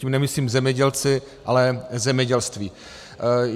Tím nemyslím zemědělce, ale zemědělství.